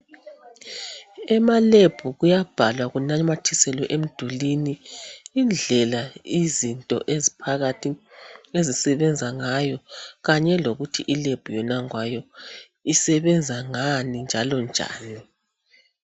Emalebhu kuyabhalwa kunamathiselwe emdulini indlela izinto eziphakathi ezisebenza ngayo kanye lokuthi ilebhu yona ngokwayo isebenza ngani njalo njani .